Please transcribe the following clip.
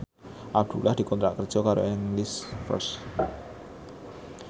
Abdullah dikontrak kerja karo English First